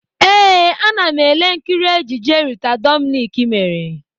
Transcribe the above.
Ee, ana m ele nkiri ejije Rita Dominic mere.